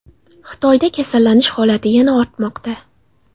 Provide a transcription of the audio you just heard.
Xitoyda kasallanish holati yana ortmoqda.